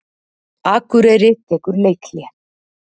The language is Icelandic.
Akureyri tekur leikhlé